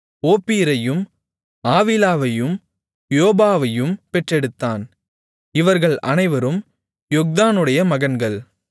ஓப்பீரையும் ஆவிலாவையும் யோபாபையும் பெற்றெடுத்தான் இவர்கள் அனைவரும் யொக்தானுடைய மகன்கள்